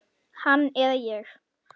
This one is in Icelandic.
Hann eða ég.